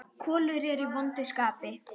Kolur er í vondu skapi.